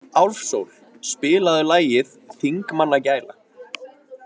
Álfsól, spilaðu lagið „Þingmannagæla“.